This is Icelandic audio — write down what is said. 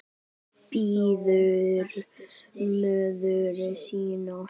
Bíður móður sinnar.